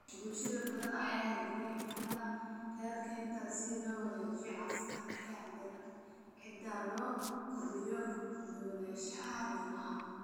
Bulsho badan ayaa hirgelinaya dhaqamada beer-kaynta si loo wanaajiyo caafimaadka ciidda loona kordhiyo kala duwanaanshaha noolaha.